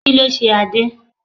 Kí ló ṣe Adé?